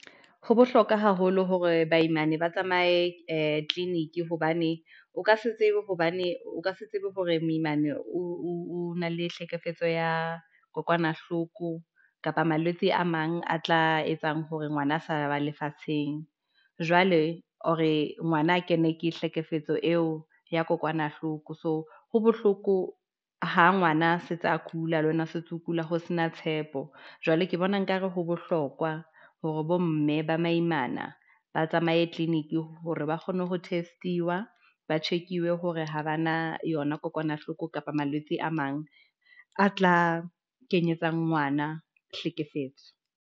Ho bohlokwa haholo hore baimana ba tsamaye ee tleliniki, hobane o ka se tsebe hore moimane o na le tlhekefetso ya kokwanahloko, kapa malwetse a mang a tla etsang hore ngwana a sa ba lefatsheng, jwale hore ngwana a kene ke hlekefetswa eo ya kokwanahloko. So ho bohloko ha ngwana se tsa kula le wena setso o kula, ho se na tshepo. Jwale ke bona nkare ho bohlokwa hore bo mme ba maimana, ba tsamaye tleliniki hore ba kgone ho teste-wa, ba check-iwe hore ha ba na yona kokwanahloko, kapa malwetse a mang a tla kenyetsa ngwana tlhekefetso.